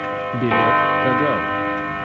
билет кагау